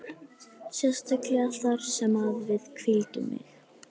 Sérstaklega þar sem að við hvíldum mig.